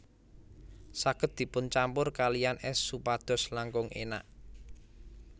Saged dipun campur kaliyan ès supados langkung énak